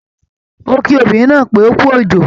Ó kí obìnrin náà pé ókú òjò